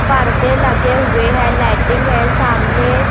पर्दे लगे हुए हैं लाइटिंग है सामने--